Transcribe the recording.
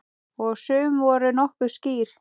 Og sum voru nokkuð skýr.